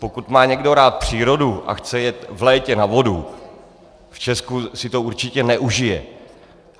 Pokud má někdo rád přírodu a chce jet v létě na vodu, v Česku si to určitě neužije.